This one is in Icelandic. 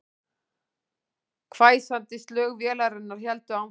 Hvæsandi slög vélarinnar héldu áfram